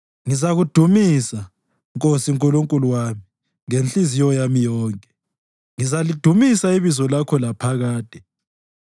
Ngizakudumisa, Nkosi Nkulunkulu wami, ngenhliziyo yami yonke; ngizalidumisa ibizo lakho laphakade.